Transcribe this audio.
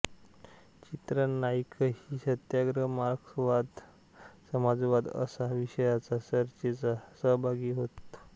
चित्रा नाईकही सत्याग्रह मार्क्सवाद समाजवाद अशा विषयाच्या चर्चेत सहभागी होत